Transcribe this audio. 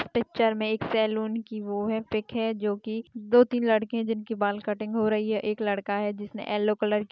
इस पिक्चर में एक सैलून की वो है पिक है जो कि दो तीन लड़के है जिनकी बाल कटिंग हो रही है एक लड़का है जिसने एलो कलर की --